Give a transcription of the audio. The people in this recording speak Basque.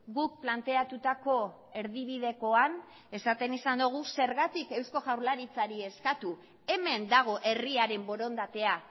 guk planteatutako erdibidekoan esaten izan dugu zergatik eusko jaurlaritzari eskatu hemen dago herriaren borondatea